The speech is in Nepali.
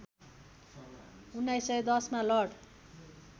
१९१० मा लर्ड